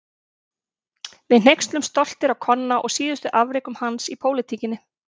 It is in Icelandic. Við hneykslumst stoltir á Konna og síðustu afrekum hans í pólitíkinni.